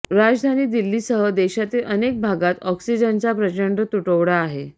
राजधानी दिल्लीसह देशातील अनेक भागात ऑक्सिजनचा प्रचंड तुटवडा आहे